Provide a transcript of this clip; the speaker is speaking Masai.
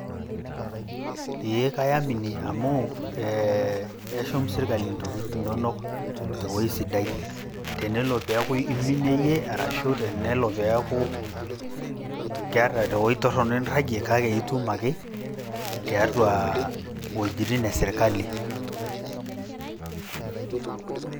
Eeeh kayamini amu ee eshum sirkali ntokitin inonok te wueji sidai. Tenelo piaku iminie iyie ashu tenelo pee eeku keeta te wueji torrono enirrajie kake itum ake tiatua iweujitin e sirkali.